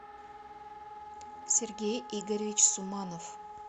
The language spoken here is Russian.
сергей игоревич суманов